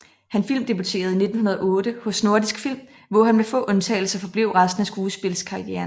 Han filmdebuterede i 1908 hos Nordisk Film hvor han med få undtagelser forblev resten af skuespildskarrieren